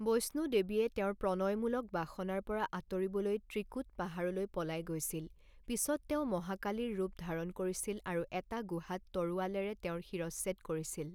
বৈষ্ণো দেৱীয়ে তেওঁৰ প্ৰণয়মূলক বাসনাৰ পৰা আঁতৰিবলৈ ত্ৰিকুট পাহাৰলৈ পলাই গৈছিল, পিছত তেওঁ মহাকালীৰ ৰূপ ধাৰণ কৰিছিল আৰু এটা গুহাত তৰোৱালেৰে তেওঁৰ শিৰচ্ছেদ কৰিছিল।